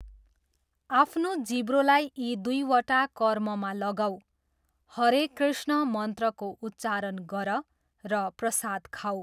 आफ्नो जिब्रोलाई यी दुईवटा कर्ममा लगाऊ, हरे कृष्ण मन्त्रको उच्चारण गर र प्रसाद खाऊ।